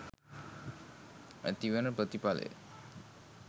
ඇතිවන ප්‍රතිඵලය